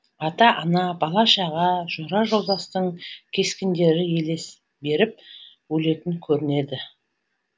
ата ана бала шаға жора жолдастың кескіндері елес беріп өлетін көрінеді